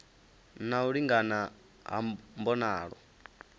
na u lingana ha mbonalo